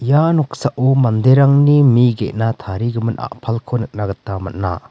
ia noksao manderangni mi gena tarigimin apalko nikna gita man·a.